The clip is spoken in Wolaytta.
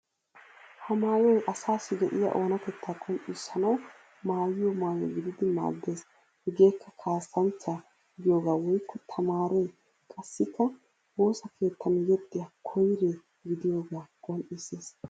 Ha maayoy asaassi de'iyaa oonatettaa qonccissanawu maayyiyo maayo gididi maaddeees. Hegeekka kaassanchcha gidiyooga woykko tamaare qassikka woosa keettan yexxiya koyre gidiyoogaa qonccissees.